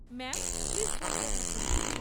Ma'am please বলতে থাকুন।